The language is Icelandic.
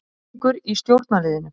Titringur í stjórnarliðinu